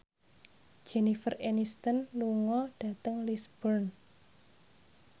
Jennifer Aniston lunga dhateng Lisburn